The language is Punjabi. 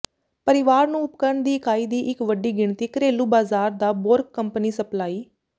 ਪਰਿਵਾਰ ਨੂੰ ਉਪਕਰਣ ਦੀ ਇਕਾਈ ਦੀ ਇੱਕ ਵੱਡੀ ਗਿਣਤੀ ਘਰੇਲੂ ਬਾਜ਼ਾਰ ਦਾ ਬੋਰਕ ਕੰਪਨੀ ਸਪਲਾਈ